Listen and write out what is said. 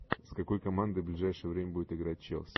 с какой командой ближайшее время будет играть челси